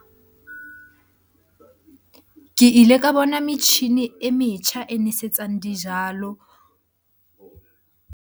Ke ile ka bona metjhini e metjha e nwesetsang dijalo.